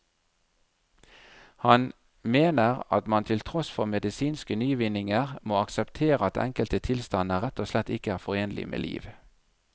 Han mener at man til tross for medisinske nyvinninger må akseptere at enkelte tilstander rett og slett ikke er forenlig med liv.